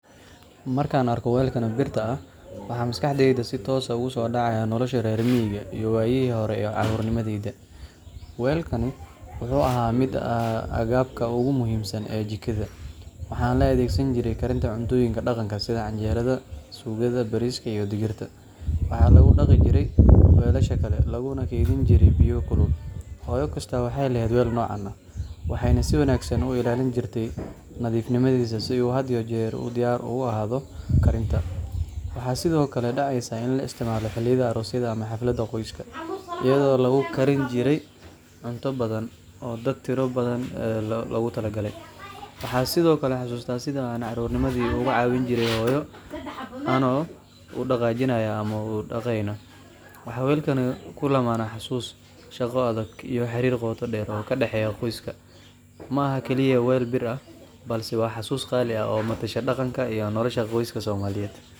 Marka aan arko weelkan birta ah, waxaa maskaxdayda si toos ah ugu soo dhacaya noloshii reer miyiga iyo waayihii hore ee carruurnimadayda. Weelkan waxa uu ka mid ahaa agabka ugu muhiimsan ee jikada, waxaana loo adeegsan jiray karinta cuntooyinka dhaqanka sida canjeerada, suugada, bariiska, iyo digirta. Waxaa lagu dhaqi jiray weelasha kale, laguna kaydin jiray biyo kulul. Hooyo kasta waxay lahayd weel noocan ah, waxayna si wanaagsan u ilaalin jirtay nadiifnimadiisa si uu had iyo jeer diyaar ugu ahaado karinta. Waxaa sidoo kale dhacaysay in la isticmaalo xilliyada aroosyada ama xafladaha qoyska, iyadoo lagu karin jiray cunto badan oo dad tiro badan loogu talagalay. Waxaan sidoo kale xasuustaa sida aan carruurnimadii ugu caawin jirnay hooyo, anagoo u dhaqaajinayna ama u dhaqayna. Waxaa weelkan ku lammaan xusuus, shaqo adag, iyo xiriir qoto dheer oo ka dhexeeya qoyska. Ma aha oo kaliya weel bir ah, balse waa xasuus qaali ah oo matasha dhaqanka iyo nolosha qoyska Soomaaliyeed.